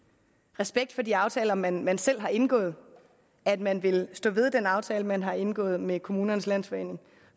respekt for de aftaler man man selv har indgået at man vil stå ved den aftale man har indgået med kommunernes landsforening